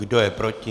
Kdo je proti?